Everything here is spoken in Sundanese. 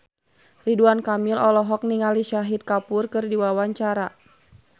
Ridwan Kamil olohok ningali Shahid Kapoor keur diwawancara